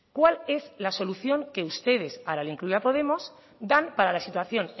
cuál es la solución que ustedes ahora le incluyo a podemos dan para la situación